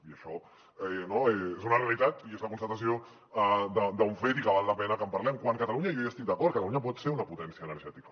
i això és una realitat i és la constatació d’un fet i que val la pena que en parlem quan catalunya jo hi estic d’acord pot ser una potència energètica